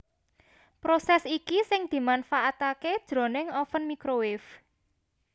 Prosès iki sing dimanfaataké jroning oven microwave